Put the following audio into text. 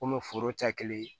Komi foro taa kelen